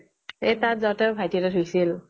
এই তাত যাওঁতে ভাইতি এটাই ধুইছিল